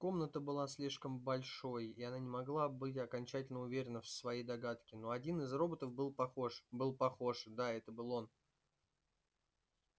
комната была слишком большой и она не могла быть окончательно уверена в своей догадке но один из роботов был похож был похож да это был он